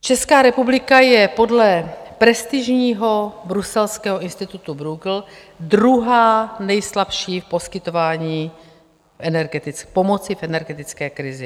Česká republika je podle prestižního bruselského institutu Bruegel druhá nejslabší v poskytování pomoci v energetické krizi.